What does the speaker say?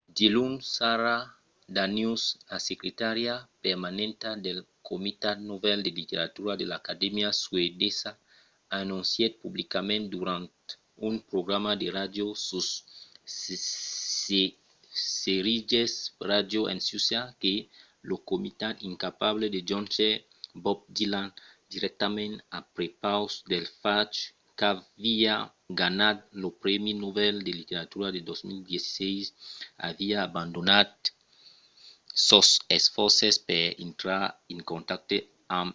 diluns sara danius la secretària permanenta del comitat nobel de literatura de l'acadèmia suedesa anoncièt publicament durant un programa de ràdio sus sveriges radio en suècia que lo comitat incapable de jónher bob dylan dirèctament a prepaus del fach qu'aviá ganhat lo prèmi nobel de literatura de 2016 aviá abandonat sos esfòrces per intrar en contacte amb el